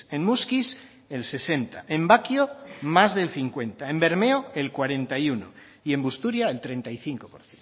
en muskiz el sesenta en bakio más del cincuenta en bermeo el cuarenta y uno y en busturia el treinta y cinco por